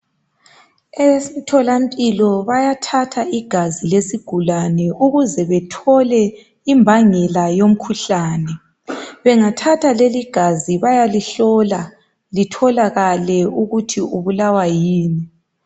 Emtholampilo bayathatha igazi lesigulane ukuze bethole imbangela yomkhuhlane. Bengathatha leli gazi bayalihlola litholakale ukuthi ubulawa yini.